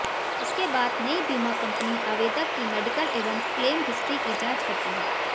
इसके बाद नई बीमा कंपनी आवेदक की मेडिकल एवं क्लेम हिस्ट्री की जांच करती है